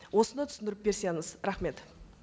осыны түсіндіріп берсеңіз рахмет